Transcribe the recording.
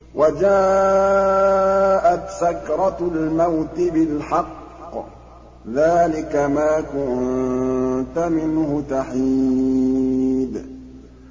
وَجَاءَتْ سَكْرَةُ الْمَوْتِ بِالْحَقِّ ۖ ذَٰلِكَ مَا كُنتَ مِنْهُ تَحِيدُ